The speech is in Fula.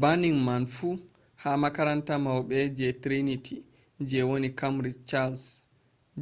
banning man fu ha makaranta mauɓe je triniti je woni kambrij chals